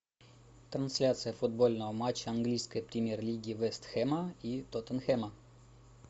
трансляция футбольного матча английской премьер лиги вест хэма и тоттенхэма